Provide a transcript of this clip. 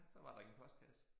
Så var der ingen postkasse